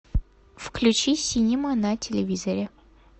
включи синема на телевизоре